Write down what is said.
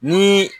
Ni